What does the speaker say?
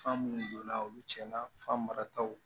Fan munnu donna olu tiɲɛna fan marataw